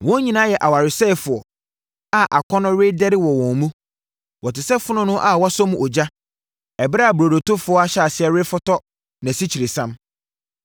Wɔn nyinaa yɛ awaresɛefoɔ a akɔnnɔ redɛre wɔ wɔn mu. Wɔte sɛ fononoo a wɔasɔ mu ogya ɛberɛ a burodotofoɔ ahyɛ aseɛ refotɔ nʼasikyiresiam.